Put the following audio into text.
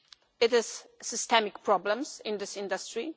There is a systemic problem in this industry.